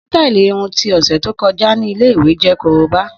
Sítàálí irun ti ọsẹ to kọja ni ile-iwe jẹ koroba.